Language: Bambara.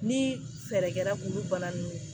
Ni fɛɛrɛ kɛra k'olu bana ninnu